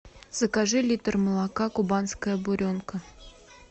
закажи литр молока кубанская буренка